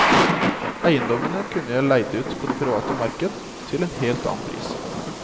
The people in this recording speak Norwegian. Eiendommene kunne jeg leid ut på det private marked til en helt annen pris.